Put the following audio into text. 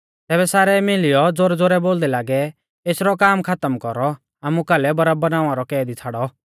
तैबै सारै मीलियौ ज़ोरैज़ोरै बोलदै लागै एसरौ काम खातम कौरौ आमु कालै बरअब्बा नावां रौ कैदी छ़ाड़ौ